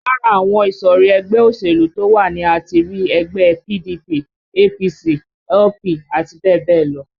Lára àwọn ìsọ̀rí ẹgbẹ́ òṣèlú to wá ni a ti rí ẹgbẹ́ PDP, APC, LP àti bẹ́ẹ̀ bẹ́ẹ̀ lọ